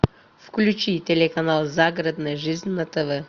включи телеканал загородная жизнь на тв